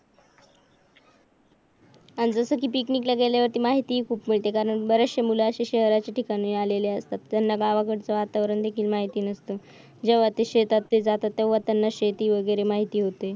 अह जस कि पिकनिक ला गेल्या वरती माहिती खूप मिळते कारण बरंचसं मुलं असे शहराच्या ठिकाणी आलेले आहेत त्यांना गावाकडेच वातावरण देखील माहिती नसतं जेव्हा ते शेतात ते जातात तेव्हा त्यांना शेती वगैरे माहित होते